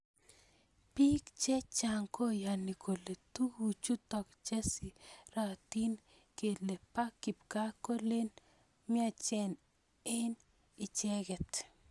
Pik che chang koyani kole tuku chutok che siratin kele ba kipkaa kolen myachen eng icheket.